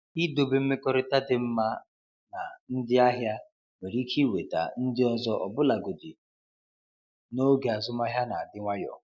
Idobe mmekọrịta dị mma na ndị ahịa nwere ike iweta ndị ọzọ ọbụlagodi n’oge azụmahịa na-adị nwayọ.